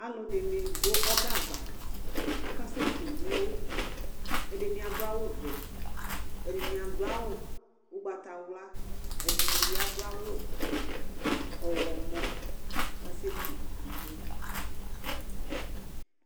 Alʋdini dʋ ɔbɛ ava akasɛ kʋ iwo ɛdini adʋ awʋvɛ ɛdini adʋ awʋ ʋgbatawla ɛdini bi adʋ ɔwlɔmɔ kʋ akasekʋ iwo